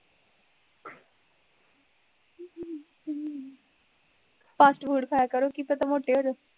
fast food ਖਾਇਆ ਕਰੋ ਕੀ ਪਤਾ ਮੋਟੇ ਹੋਜੋ